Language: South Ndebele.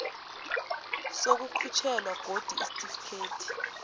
sokukhutjhelwa godu isitifikethi